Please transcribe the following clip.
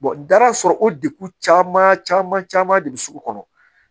da sɔrɔ o degu caman caman de bɛ sugu kɔnɔ